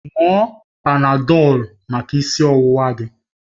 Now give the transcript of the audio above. Ṅụọ Panadọlu maka isi ọwụwa gị!